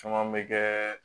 Caman bɛ kɛ